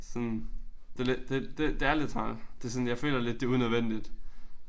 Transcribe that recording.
Sådan det lidt det det det er lidt træls. Det sådan jeg føler lidt det unødvendigt